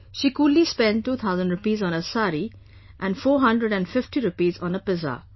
She coolly spent two thousand rupees on a sari, and four hundred and fifty rupees on a pizza